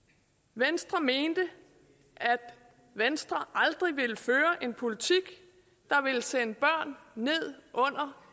venstre mente at venstre aldrig ville føre en politik der ville sende børn ned under